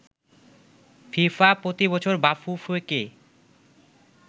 FIFA প্রতিবছর বাফুফেকে